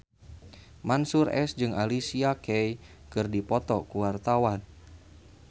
Mansyur S jeung Alicia Keys keur dipoto ku wartawan